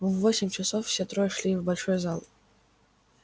в восемь часов все трое шли в большой зал